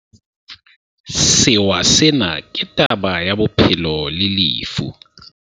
Sewa sena ke taba ya bophelo le lefu.